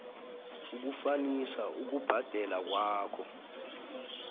ukufanisa ukubhadela kwakho